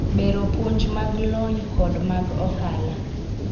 bero puonj mag lony kod mag ohala